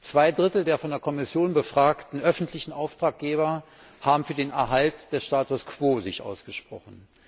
Zwei Drittel der von der Kommission befragten öffentlichen Auftraggeber haben sich für den Erhalt des Status quo ausgesprochen.